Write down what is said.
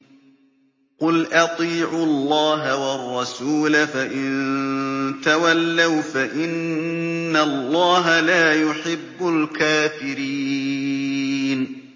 قُلْ أَطِيعُوا اللَّهَ وَالرَّسُولَ ۖ فَإِن تَوَلَّوْا فَإِنَّ اللَّهَ لَا يُحِبُّ الْكَافِرِينَ